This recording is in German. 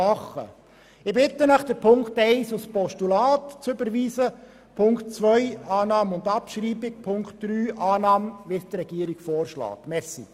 Ich bitte Sie, Ziffer 1 als Postulat zu überweisen, Ziffer 2 anzunehmen und abzuschreiben und Ziffer 3, wie von der Regierung vorgeschlagen, anzunehmen.